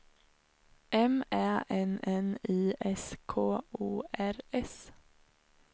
M Ä N N I S K O R S